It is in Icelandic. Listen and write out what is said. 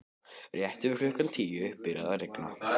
Rétt fyrir klukkan tíu byrjaði að rigna.